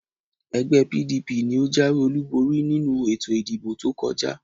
Ẹgbẹ́e PDP ni ó jáwé-olúborí nínú ètò ìdìbò tó kọjá.